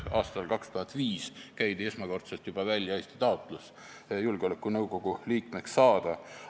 Aastal 2005 käidi esmakordselt välja julgeolekunõukogu liikmeks saamise taotlus.